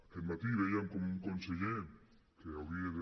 aquest matí vèiem com un conseller que hauria de